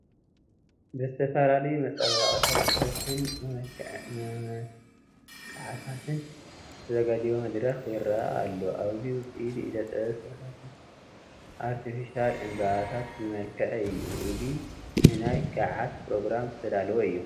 ብዝተፈላለዩ መፀባበቕታትን መመላኽዕታትን ዝተዛጋጀወ መድረኽ ይረአ ኣሎ፡፡ ኣብዚ ውፅኢት ኢደ ጥበብ ስፈታት ኣርቴፊሻል ዕንበባታትን ዝመልከዐ እዩ፡፡ እዚ ንናይ ጋዓት ኘሮግራም ዝተዳለወ እዩ፡፡